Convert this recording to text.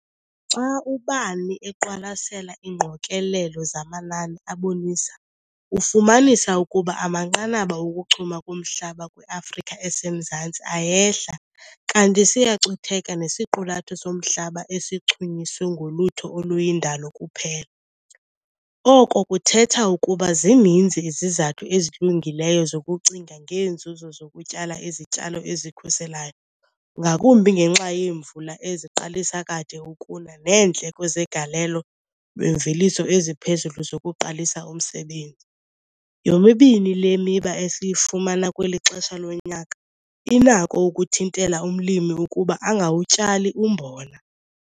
Xa ubani eqwalasela iingqokelelo zamanani abonisa ufumanisa ukuba amanqanaba okuchuma komhlaba kwi-Afrika esemzantsi ayehla kanti siyacutheka nesiqulatho somhlaba esichunyiswe ngolutho oluyindalo kuphela, oko kuthetha ukuba zininzi izizathu ezilungileyo zokucinga ngeenzuzo zokutyala izityalo ezikhuselayo ngakumbi ngenxa yeemvula eziqalisa kade ukuna neendleko zegalelo lemveliso eziphezulu zokuqalisa umsebenzi - yomibini le miba esiyifumana kweli xesha lonyaka, inako ukuthintela umlimi ukuba angawutyali umbona.